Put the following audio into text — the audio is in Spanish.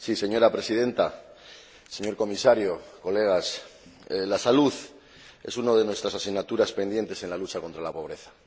Señora Presidenta, señor Comisario, colegas, la salud es una de nuestras asignaturas pendientes en la lucha contra la pobreza.